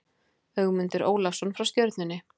Ögmundur Ólafsson frá Stjörnunni